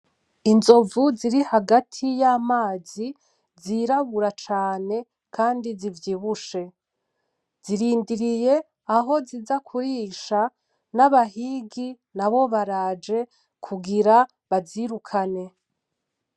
Inzovu ziri hagati y’amazi zirabura cane Kandi zivyibushe, zirindiriye aho ziza kurisha, n’abahigi nabo baraje kugira bazirukane.